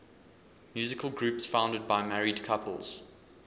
musical groups founded by married couples